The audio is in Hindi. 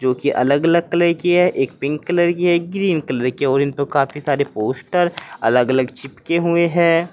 जो कि अलग अलग कलर की है। एक पिंक कलर की है एक ग्रीन कलर की है और इनपे काफी सारे पोस्टर अलग अलग चिपके हुए हैं।